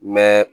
Mɛ